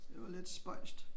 Det var lidt spøjst